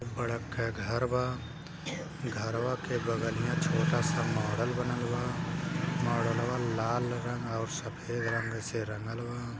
बड़ा ख घर बा घरवा के बगल में छोटा सा मॉडल बनल बा मॉडलवा लाल रंग अउर सफेद रंग से रंगल बा।